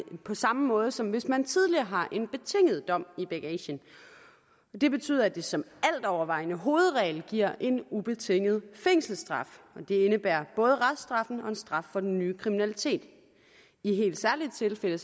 på samme måde som hvis man tidligere har en betinget dom i bagagen det betyder at det som altovervejende hovedregel giver en ubetinget fængselsstraf og det indebærer både reststraffen og en straf for den nye kriminalitet i helt særlige tilfælde